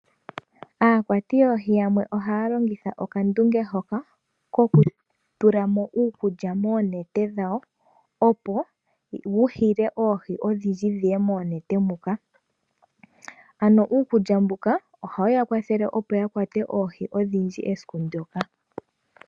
Aakwati yoohi yamwe ohaalongitha okandunge hoka kokutula mo uukulya moonete dhawo opo wuhile oohi odhindji dhiye moonete muka, ano uukulya mbuka ohawu yakwathele opo yakwate oohi odhindji esiku ndyoka.